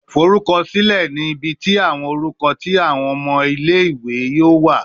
Forukọsilẹ ni ibi ti awọn orukọ ti awọn omo ile ni o wa